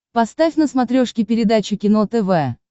поставь на смотрешке передачу кино тв